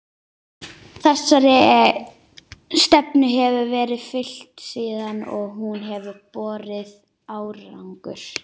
Þessari stefnu hefur verið fylgt síðan og hún hefur borið árangur.